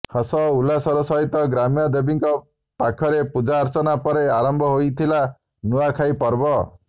ହସ ଓ ଉଲ୍ଲାସର ସହିତ ଗ୍ରାମ୍ୟ ଦେବୀଙ୍କ ପାଖରେ ପୁଜାର୍ଚ୍ଚନା ପରେ ଆରମ୍ଭ ହୋଇଥିଲା ନୁଆଖାଇ ପର୍ବ